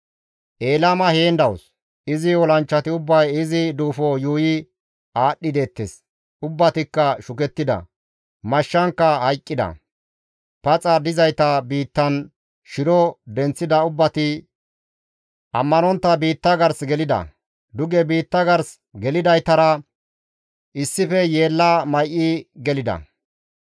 «Elaama heen dawus; izi olanchchati ubbay izi duufo yuuyi aadhdhi deettes; ubbatikka shukettida; mashshankka hayqqida; paxa dizayta biittan shiro denththida ubbati ammanontta biitta gars gelida; duge biitta gars gelidaytara issife yeella may7i gelida.